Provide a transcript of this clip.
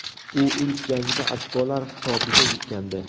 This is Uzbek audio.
U ilk jangida ochkolar hisobiga yutgandi.